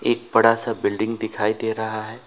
एक बड़ा सा बिल्डिंग दिखाई दे रहा है।